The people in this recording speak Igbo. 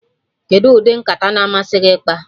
Kedụ ụdị nkata na-amasị gị ịkpa?